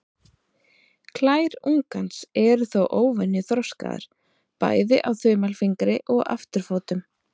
Klær ungans eru þó óvenju þroskaðar, bæði á þumalfingri og afturfótum.